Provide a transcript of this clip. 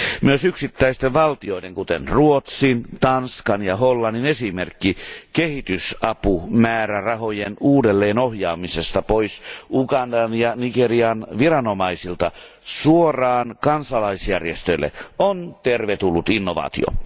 Myös yksittäisten valtioiden, kuten Ruotsin, Tanskan ja Hollannin, esimerkki kehitysapumäärärahojen uudelleenohjaamisesta pois Ugandan ja Nigerian viranomaisilta suoraan kansalaisjärjestöille on tervetullut innovaatio.